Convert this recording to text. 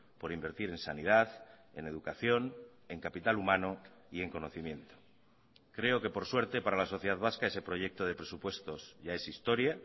por invertir en sanidad en educación en capital humano y en conocimiento creo que por suerte para la sociedad vasca ese proyecto de presupuestos ya es historia